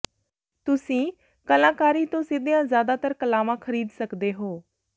ਤੁਸੀਂ ਕਲਾਕਾਰੀ ਤੋਂ ਸਿੱਧੀਆਂ ਜ਼ਿਆਦਾਤਰ ਕਲਾਵਾਂ ਖਰੀਦ ਸਕਦੇ ਹੋ